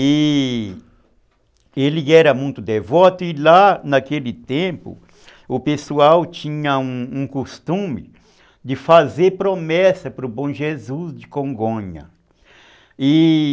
E ele era muito devoto e lá naquele tempo o pessoal tinha um um costume de fazer promessa para o Bom Jesus de Congonha.